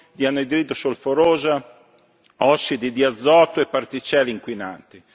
di anidride solforosa, ossidi di azoto e particelle inquinanti.